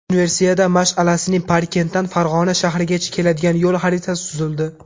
Universiada mash’alasining Parkentdan Farg‘ona shahrigacha keladigan yo‘l xaritasi tuzildi.